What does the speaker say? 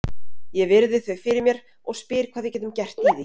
Ég virði þau fyrir mér og spyr hvað við getum gert í því.